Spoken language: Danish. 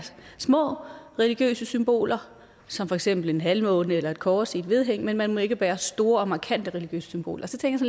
små religiøse symboler som for eksempel en halvmåne eller et kors i et vedhæng men man må ikke bære store og markante religiøse symboler så tænkte